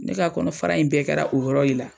Ne ka kɔnɔ fara in bɛɛ kɛra o yɔrɔ le la.